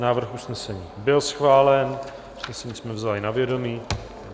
Návrh usnesení byl schválen, usnesení jsme vzali na vědomí.